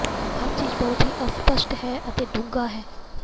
ਹਰ ਚੀਜ਼ ਬਹੁਤ ਹੀ ਅਸਪਸ਼ਟ ਹੈ ਅਤੇ ਡੂੰਘਾ ਹੈ